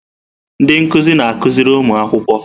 Ndị nkuzi na-akụziri ụmụ akwụkwọ.